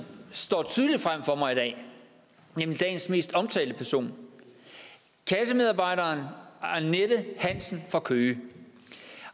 står tydeligt for mig i dag nemlig dagens mest omtalte person kassemedarbejderen annette hansen fra køge